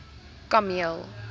kameel